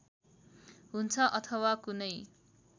हुन्छ अथवा कुनै